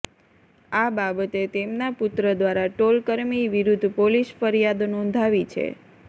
આ બાબતે તેમના પુત્ર દ્વારા ટોલ કર્મી વિરૂઘ્ઘ પોલીસ ફરિયાદ નોંધાવી છે